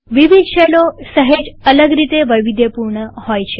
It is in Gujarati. વિવિધ શેલો સહેજ અલગ રીતે વૈવિધ્યપૂર્ણ છે